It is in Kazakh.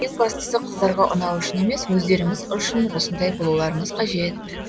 ең бастысы қыздарға ұнау үшін емес өздеріңіз үшін осындай болуларыңыз қажет